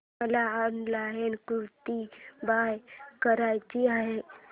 मला ऑनलाइन कुर्ती बाय करायची आहे